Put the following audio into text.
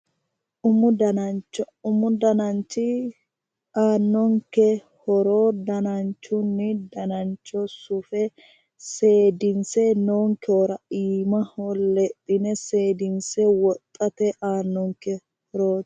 Umu danancho. Umu dananchi aannonke horo danachunni danancho sufe seedinse noonkehura iimaho lexxine seedinse wodhate aanonke horo.